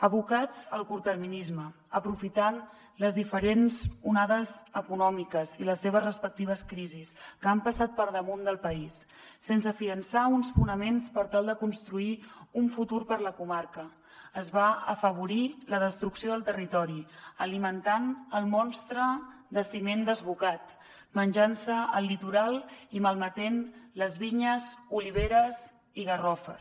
abocats al curtterminisme aprofitant les diferents onades econòmiques i les seves respectives crisis que han passat per damunt del país sense consolidar uns fonaments per tal de construir un futur per a la comarca es va afavorir la destrucció del territori alimentant el monstre de ciment desbocat menjant se el litoral i malmetent les vinyes oliveres i garrofers